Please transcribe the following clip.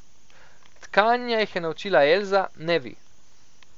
Tkanja jih je naučila Elza, ne vi.